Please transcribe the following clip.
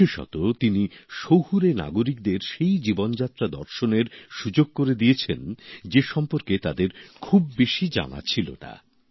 বিশেষত তিনি শহুরে নাগরিকদের সেই জীবনযাত্রা দর্শনের সুযোগ করে দিয়েছেন যে সম্পর্কে তাদের খুব বেশি জানা ছিল না